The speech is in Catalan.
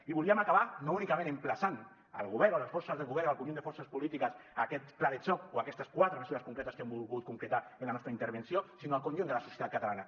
i volíem acabar no únicament emplaçant el govern o les forces del govern al conjunt de forces polítiques a aquest pla de xoc o a aquestes quatre mesures concretes que hem volgut concretar en la nostra intervenció sinó al conjunt de la societat catalana